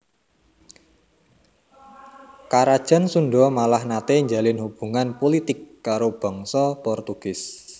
Karajan Sundha malah naté njalin hubungan pulitik karo bangsa Portugis